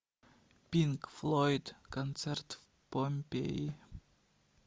пинк флойд концерт в помпеи